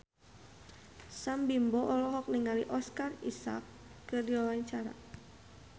Sam Bimbo olohok ningali Oscar Isaac keur diwawancara